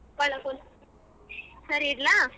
ಸರಿ ಇಡ್ಲಾ.